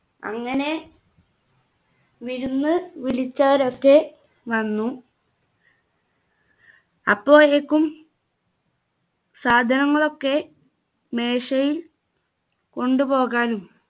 അങ്ങനെ വിരുന്ന് വിളിച്ചവരൊക്കെ വന്നു അപ്പോഴേക്കും സാധനങ്ങളൊക്കെ മേശയിൽ കൊണ്ടുപോകാനും